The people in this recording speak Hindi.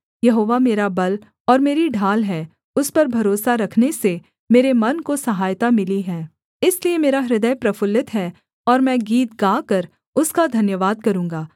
यहोवा मेरा बल और मेरी ढाल है उस पर भरोसा रखने से मेरे मन को सहायता मिली है इसलिए मेरा हृदय प्रफुल्लित है और मैं गीत गाकर उसका धन्यवाद करूँगा